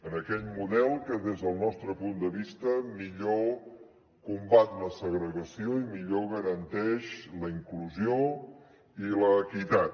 en aquell model que des del nostre punt de vista millor combat la segregació i millor garanteix la inclusió i l’equitat